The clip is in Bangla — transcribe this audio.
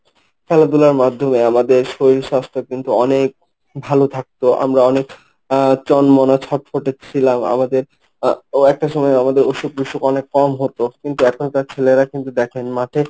খেলাধুলার মাধ্যমে আমাদের শরীর স্বাস্থ্য কিন্তু অনেক ভালো থাকতো। আমরা অনেক আহ চনমনে ছটফটে ছিলাম, আমাদের ও একটা সময় আমাদের অসুখ বিসুখ অনেক কম হতো। কিন্তু এখনকার ছেলেরা কিন্তু দেখেন মাঠে